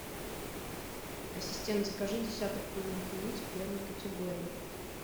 ассистент закажи десяток куриных яиц первой категории